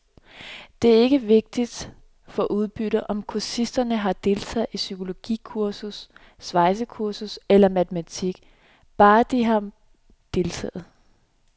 Og det er ikke vigtigt for udbyttet, om kursisterne har deltaget i psykologikursus, svejsekursus eller matematik, bare de har deltaget.